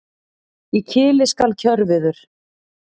Í kili skal kjörviður.